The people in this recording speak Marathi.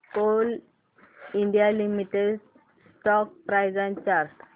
Coal India limited stock price and chart